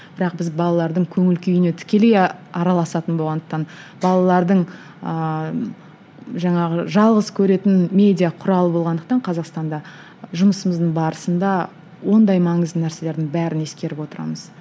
бірақ біз балалардың көңіл күйіне тікелей араласатын болғандықтан балалардың ыыы жаңағы жалғыз көретін медиа құралы болғандықтан қазақстанда жұмысымыздың барысында ондай маңызды нәрселердің бәрін ескеріп отырамыз